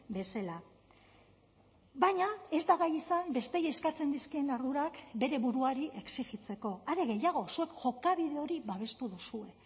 bezala baina ez da gai izan besteei eskatzen dizkien ardurak bere buruari exijitzeko are gehiago zuek jokabide hori babestu duzue